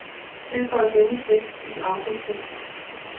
Tilføj denne tekst i autotekst.